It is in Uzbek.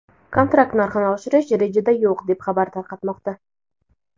kontrakt narxini oshirish rejada yo‘q deb xabar tarqatmoqda.